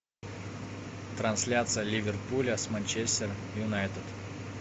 трансляция ливерпуля с манчестер юнайтед